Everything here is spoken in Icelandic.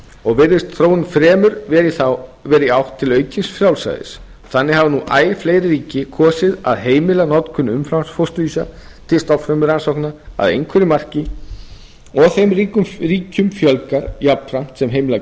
og virðist þróunin fremur vera í átt til aukins frjálsræðis þannig hafa nú æ fleiri ríkið kosið að heimila notkun umframfósturvísa frumurannsókna að einhverju marki og þeim ríkjum fjölgar jafnframt sem heimila kjarnaflutning